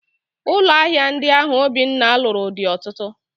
Ụlọ ahịa ndi ahụ Obinna lụrụ dị ọtụtụ